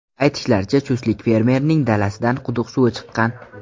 Aytishlaricha, chustlik fermerning dalasidan quduq suvi chiqqan .